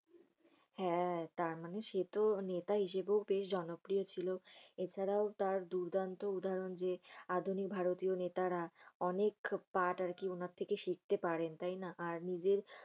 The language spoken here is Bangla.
হ্যা। তারমানি সে তো নেতা হিসাবে ও বেশ জনপ্রিয় ছিল। এছাড়া ও তার দূরদান্ত উদাহরণ যে, আধুনিক ভারতীয় নেতারা অনেক তার আর কি উনার থেকে শিক্ষতে পাড়েন। তাই না? আর